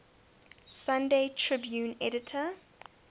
sunday tribune editor